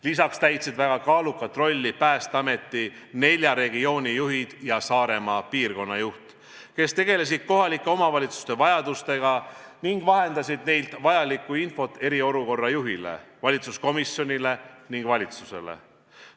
Lisaks täitsid väga kaalukat rolli Päästeameti nelja regiooni juhid ja Saaremaa piirkonna juht, kes tegelesid kohalike omavalitsuste vajadustega ning vahendasid nendelt saadud infot eriolukorra juhile, valitsuskomisjonile ning valitsusele.